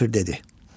Kafir dedi: